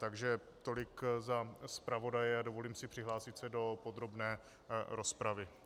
Takže tolik za zpravodaje a dovolím si přihlásit se do podrobné rozpravy.